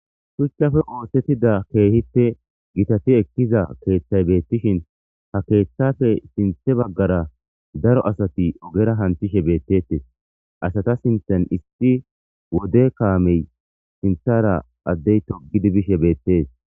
shuchchafe oosettida keehipte gitati ekkiza keeththay beettishin ha keeththafe sinthe baggara daro asati ogera hanthishe beettetes asata sinthan issi wode kaamey sinthara addey togidi bishe beettes